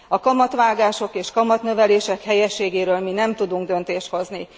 A kamatvágások és kamatnövelések helyességéről mi nem tudunk döntést hozni.